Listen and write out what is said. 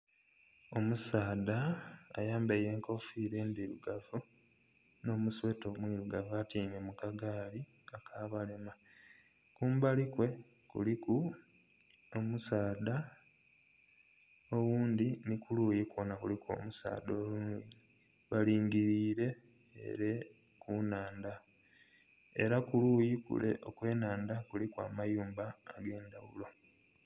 Omusaadha ayambaire enkofira endhirugavu n'omusweeta omu irugavu atyaime mukagaali aka balema. Kumbali kwe kuliku omusaadha oghundhi ni kuluyi kuno kuliku omusaadha oghundhi balingirire ere ku nnhandha era kuluyi kule okw'enhandha kuliku amayumba agendhaghulo.